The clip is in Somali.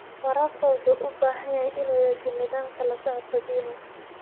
Waraabka wuxuu u baahan yahay inuu yeesho nidaamka la socodka biyaha.